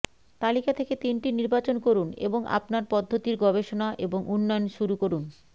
তালিকা থেকে তিনটি নির্বাচন করুন এবং আপনার পদ্ধতির গবেষণা এবং উন্নয়ন শুরু করুন